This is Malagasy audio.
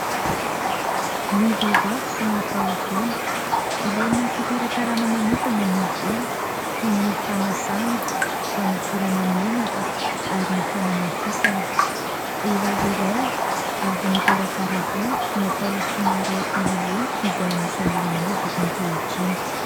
Ny vehivavy sy ny tahovolo ilaina fikarakarana manokana ny volo toy ny fanasana, fanosorana menaka ary ny fanamafisana. Vehivavy iray avy nikarakara volo natao somary holiholy izay anisan'ny lamaody ankehitriny